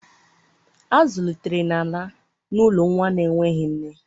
A zụlitere Nana n'ụlọ nwa na-enweghị nne.